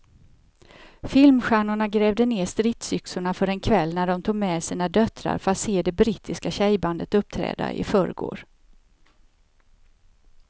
Filmstjärnorna grävde ned stridsyxorna för en kväll när de tog med sina döttrar för att se det brittiska tjejbandet uppträda i förrgår.